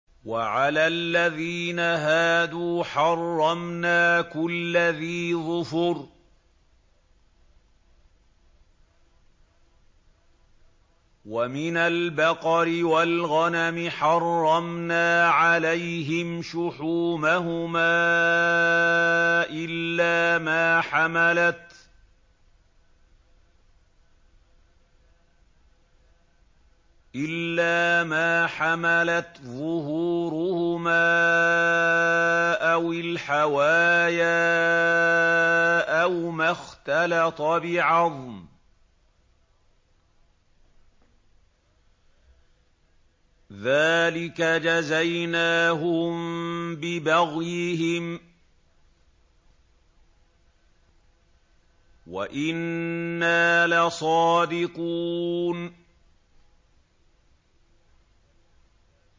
وَعَلَى الَّذِينَ هَادُوا حَرَّمْنَا كُلَّ ذِي ظُفُرٍ ۖ وَمِنَ الْبَقَرِ وَالْغَنَمِ حَرَّمْنَا عَلَيْهِمْ شُحُومَهُمَا إِلَّا مَا حَمَلَتْ ظُهُورُهُمَا أَوِ الْحَوَايَا أَوْ مَا اخْتَلَطَ بِعَظْمٍ ۚ ذَٰلِكَ جَزَيْنَاهُم بِبَغْيِهِمْ ۖ وَإِنَّا لَصَادِقُونَ